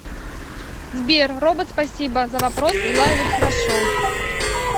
сбер робот спасибо за вопрос дела идут хорошо